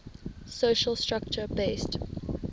social structure based